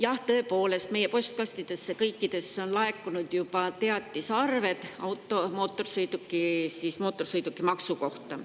Jah, tõepoolest, meie postkastidesse on juba laekunud teatised mootorsõidukimaksu arve kohta.